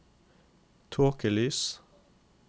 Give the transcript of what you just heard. tåkelys